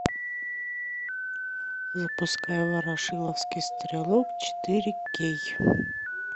запускай ворошиловский стрелок четыре кей